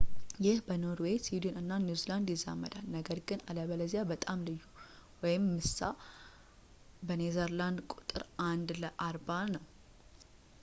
ይህ በኖርዌይ፣ ስዊድን፣ እና ኒው ዚላንድ ይዛመዳል፣ ነገር ግን አለበለዚያ በጣም ልዩ ምሳ. በኔዘርላንድ ቁጥሩ አንድ ለ አርባ ነው